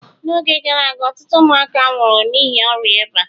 n'oge gara aga ọtụtụ ụmụaka nwụrụ n'ihi ọrịa eba